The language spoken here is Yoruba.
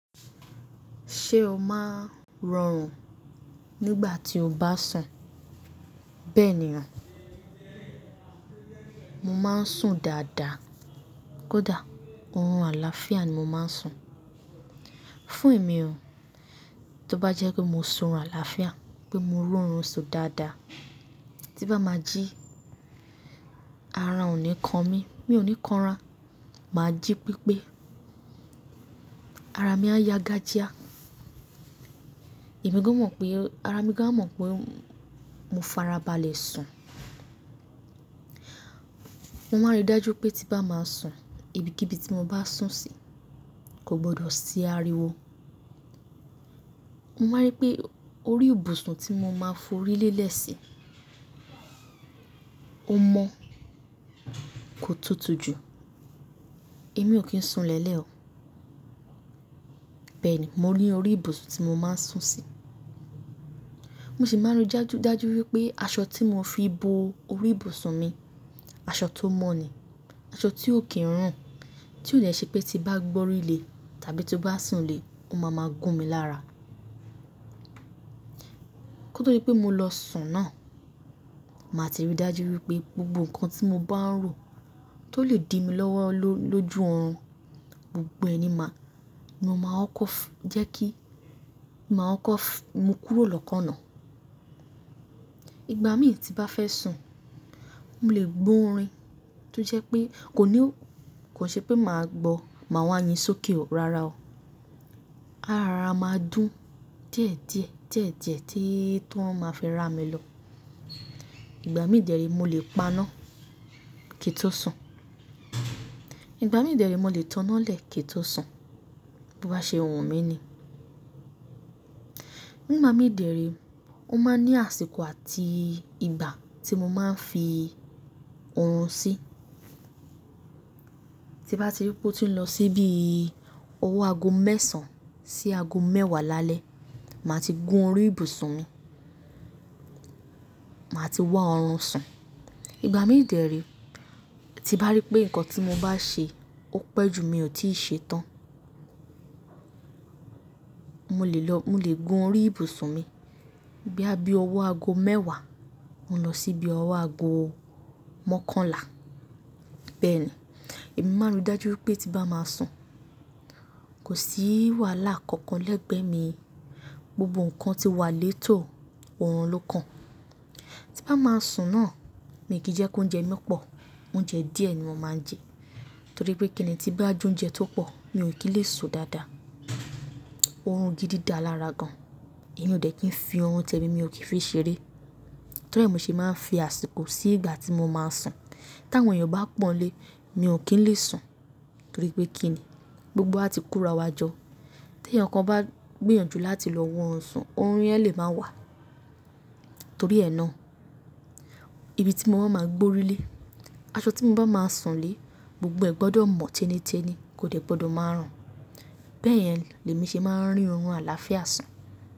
Ṣé o máa ń rọrùn nígbà tí o bá sùn? Bẹ́ẹ̀ ni o, mo máa ń sùn dáadáa. Kódà oorun àlàáfíà ni mo máa ń sùn. Fún èmi o, tó bá jẹ́ pé mo sùn run àlàáfíà, pé mo rí oorun si dáadáa, tí bá máa jí, ara ò ní kan mi, mi ò ní kan ara. Màá jí pípé ara mi a ya gàjía. Ẹ̀mi gan mọ̀ pé ara mi gan a mọ̀ pé mo farabalẹ̀ sùn. Mo máa ń rí dájú pé tí bá máa sùn, ibi kí ibi tí mo bá sùn sí kò gbọdọ̀ sí ariwo. Mo máa rí pé orí ibùsùn tí mo máa ń forí lélẹ̀ sí, o mọ́, kò tutù ju, èmi ò kí ń sùn lẹ́lẹ̀ o. Bẹ́ẹ̀ ni mo rí orí ibùsùn tí mo máa ń sùn sí. Mo sì máa ń rí dájú, dájú wípé aṣọ tí mo fi bo orí ibùsùn mi, aṣọ tó mọ́ ni, aṣọ tí ò kí ń rùn, tí ó le ṣe pé tí bá gbọ́rí lé tàbí tí bá sùn lé, ó máa máa gún mi lára. Kó tó di pé mo lọ sùn náà, màá ti rí dájú wípé gbogbo ǹkan tí mo bá ń rò tó lè di mi lọ́wọ́ lójú oorun, gbogbo ẹnì máa, mo máa ó kọ́fù, jẹ́ kí, màá ó kọ́fù, mo kúrò lọ́kàn náà. Ìgbà mì tí bá fẹ́ sùn, mo lè gbọ́ orin tó jẹ́ pé kò ní o, kò ṣe pé màá gbọ́ màá wá yín sókè o, rárá o. Ara máa dún diedie diedie tí, tí wọ́n máa fi rá mi lọ. Ìgbà mìí de re mo lè paná kí n tó sùn. Ìgbà mìí de re mo lè taná lẹ̀ kí n tó sùn. Bo bá ṣe wun mi ni. Nígbà mìí de re, ó máa ń ní àsìkò àti ìgbà tí mo máa ń fi oorun sí. Tí bá ti rí pé ó ti ń lọ síbi ọwọ́ ago mẹ́sàn-án sí ago mẹ́wàá lálẹ́, màá ti gún orí ibùsùn mi. Màá ti wá oorun sùn. Ìgbà mìí de re, tí bá rí pé ǹkan tí mo bá ṣe ó pẹ́ jù mí ò tíì ṣe tán, mo lè lọ, mo lè gun orí ibùsùn mi. Boya bí ọwọ́ ago mẹ́wàá, mo lọ síbi ọwọ́ ago mọ́kànlá. Bẹ́ẹ̀ ni, èmi máa ń rí dájú wípé tí bá máa sùn, kò sí wàhálà kankan lẹ́gbẹ̀ẹ́ mi. Gbogbo ǹkan ti wà létò, oorun ló kan. Tí bá máa sùn náà, mi ò kí jẹ́ kí oúnjẹ mi pọ̀. Oúnjẹ díẹ̀ ni mo máa ń jẹ. Torí pé kíni tí bá ju oúnjẹ tó pọ̀, mi ò kí lè sùn dáadáa. Oorun gidí dá lára gan. Èmi ò dẹ̀ kí ń fi oorun tẹ̀mi, mi ò kí fi ṣeré. Torí è mo ṣe máa ń fi àsìkò sí ìgbà tí mo máa ń sùn. Tí àwọn èèyàn bá pọ̀nlé, mi ò kí ń lè sùn. Torí pé kíni, gbogbo wa ti kura wa jo. Tí ẹeyan kan bá gbìyànjú láti lọ wọ̀ ọ́run sùn, oorun yẹn lè máa wà. Torí ẹ náà, ibi tí mo máa ń gbọ́rí lé, aṣọ tí mo bá máa sùn lé, gbogbo ẹ̀ gbọdọ̀ mọ̀ téniténi, kò dẹ̀ gbọdọ̀ máa rùn. Bẹ́ẹ̀ yẹn lèmi ṣe máa ń rí oorun àlàáfíà sùn.